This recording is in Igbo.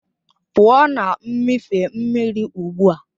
Pụọ na mmịfe mmiri ugbu a!